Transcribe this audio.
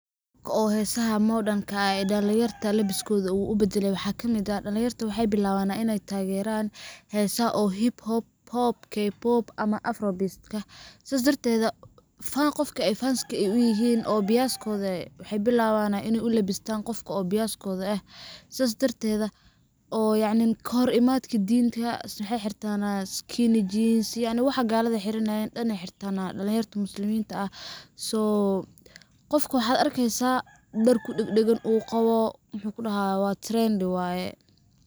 Oo hesaha modern ka ah uu dhalin yarta labiskooda u baddalay, waxaa kamid ah, dhalin yarta waxey billawanaa iney tageraan hesaha hip-hop, kepop ama afro-beat . Saas darteeda ,fan qofki ay fanska u yihiin oo biyaskooda eh waxey billawanaa iney u labistaan qofka oo biyaskooda eh, sidaas darteeda oo yacni kahor imaadka diinta waxey xirtanaa skinny-jeans yacni waxa galada xiranayeen dhan ayey xirtanaa dhalin yarta musliminta ah ,so ,qofka waxaad arkeysa dhar ku dhagdhagan uu qawo, waxuu ku dhahayaa waa trend waye.